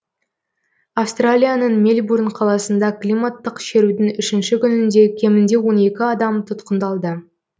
австралияның мельбурн қаласында климаттық шерудің үшінші күнінде кемінде он екі адам тұтқындалды